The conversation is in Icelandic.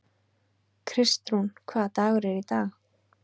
Kristrún, hvaða dagur er í dag?